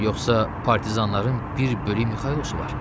Yoxsa partizanların bir bölük Mixaylosu var?